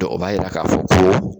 Dɔ o b'a yira k'a fɔ ko